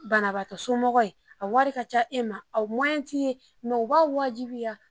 Banabaa somɔgɔw ye, a wari ka ca e ma , o t tɛ i ye nka u b'a' wajibiya